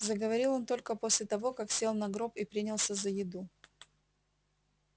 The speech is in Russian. заговорил он только после того как сел на гроб и принялся за еду